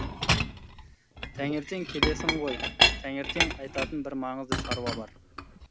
таңертең келесің ғой таңертең айтатын бір маңызды шаруа бар